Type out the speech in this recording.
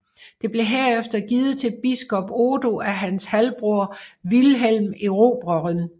Det blev herefter givet til biskop Odo af hans halvbror Vilhelm Erobreren